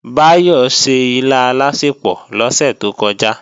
Báyọ̀ se ilá alásèpò lọ́sẹ̀ tó kọjá